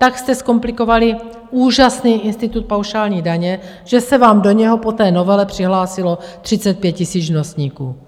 Tak jste zkomplikovali úžasný institut paušální daně, že se vám do něho po té novele přihlásilo 35 000 živnostníků.